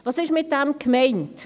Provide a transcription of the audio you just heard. Was ist damit gemeint?